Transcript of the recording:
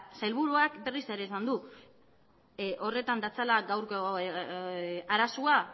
sailburuak berriz ere esan du horretan datzala gaurko arazoa